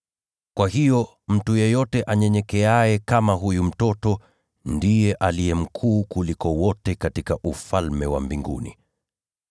Kwa hiyo mtu yeyote anyenyekeaye kama huyu mtoto, ndiye aliye mkuu kuliko wote katika Ufalme wa Mbinguni.